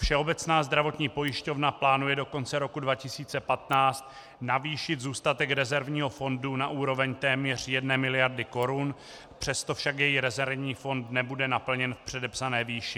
Všeobecná zdravotní pojišťovna plánuje do konce roku 2015 navýšit zůstatek rezervního fondu na úroveň téměř jedné miliardy korun, přesto však její rezervní fond nebude naplněn v předepsané výši.